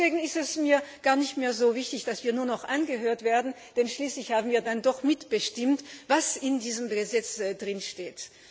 Deswegen ist es mir gar nicht mehr so wichtig, dass wir nur noch angehört werden, denn schließlich haben wir dann doch mitbestimmt, was in diesem Gesetz steht.